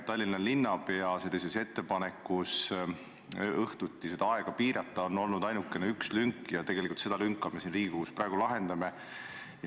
Tallinna linnapea ettepanekus seda aega piirata on olnud ainult üks lünk ja seda lünka me siin Riigikogus praegu täidame.